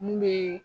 Mun bɛ